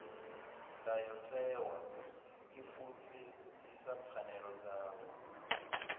ndayotewa i fulufhedzisa pfanelo dzavho